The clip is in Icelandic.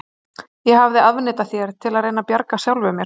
Ég hafði afneitað þér, til að reyna að bjarga sjálfum mér.